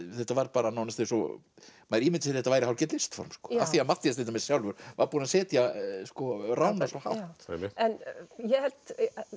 þetta var nánast eins og maður ímyndaði þetta væri hálfgert listform af því að Matthías til dæmis sjálfur var búinn að setja svo hátt ég held